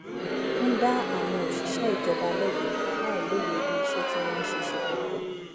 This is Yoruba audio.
ń dá àwọn òṣìṣẹ́ ìjọba lẹ́bi láìlóye bí iṣẹ́ tí wọ́n ń ṣe ṣe pọ̀ tó